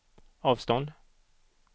avstånd